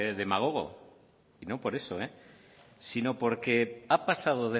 demagogo y no por eso sino porque ha pasado